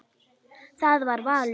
Það var valur.